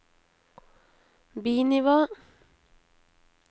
bi-nivå